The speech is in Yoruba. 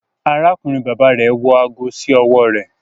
Arákùnrin bàbà rẹ wọ aago sí ọwọ rẹ